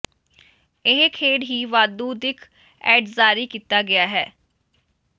ਇਹ ਖੇਡ ਹੀ ਵਾਧੂ ਦਿੱਖ ਏਡਜ਼ ਜਾਰੀ ਕੀਤਾ ਗਿਆ ਹੈ